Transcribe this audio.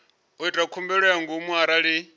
ita khumbelo ya ngomu arali